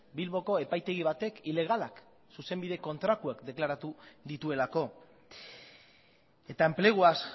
bilboko epaitegi batek ilegalak zuzenbide kontrakoak deklaratu dituelako eta enpleguaz